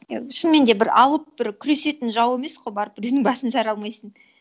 иә шынымен де бір ауыт бір күресетін жау емес қой барып біреудің басын жара алмайсың